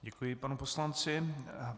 Děkuji panu poslanci.